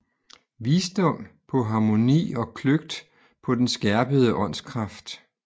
Visdom på harmoni og kløgt på den skærpede åndskraft